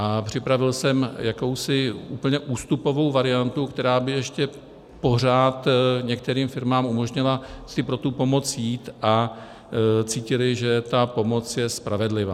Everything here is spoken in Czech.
A připravil jsem jakousi úplně ústupovou variantu, která by ještě pořád některým firmám umožnila si pro tu pomoc jít, a cítily, že ta pomoc je spravedlivá.